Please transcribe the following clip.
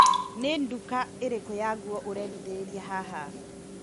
Nĩ nduka ĩrĩkũ ya nguo urendithĩrĩria haha?